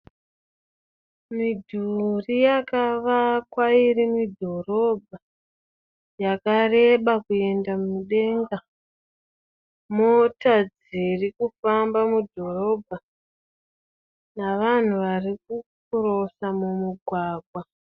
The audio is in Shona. Midhuri yakavakwa iri mudhorobha yakareba kuenda mudenga, mota dzirikufamba mudhorobha navanhu vari kukirosa mumugwagwa